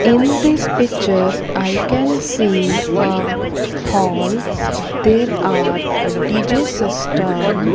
in this picture i can see um hall there are a D_J system.